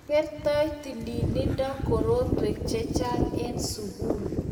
kertoi tililindo korotwek che chang' eng' sukul